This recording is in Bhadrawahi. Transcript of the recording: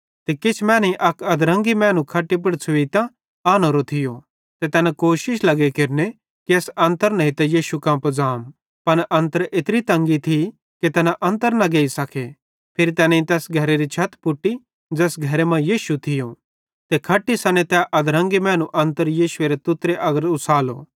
किछ मैनेईं अक अधरंगी मैनू खट्टी पुड़ छ़ुइतां आनोरोए थियो ते तैना कोशिश लगे केरने कि एस अन्तर नेइतां यीशु कां पुज़ाम